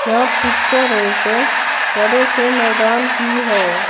यह पिक्चर एक बड़े से मैदान की है।